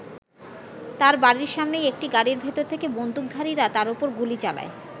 তার বাড়ির সামনেই একটি গাড়ির ভেতর থেকে বন্দুকধারীরা তার ওপর গুলি চালায়।